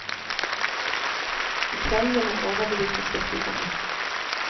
I kveld vil han overbevise skeptikerne.